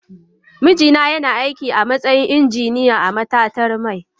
Mijina yana aiki a matsayin injiniya a matatar mai.